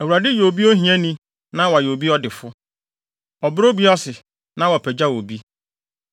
Awurade yɛ obi ohiani na wayɛ obi ɔdefo; ɔbrɛ obi ase na wapagyaw obi.